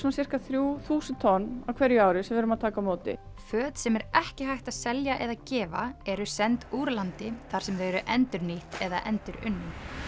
sirka þrjú þúsund tonn á hverju ári sem við erum að taka á móti föt sem ekki er hægt að selja eða gefa eru send úr landi þar sem þau eru endurnýtt eða endurunnin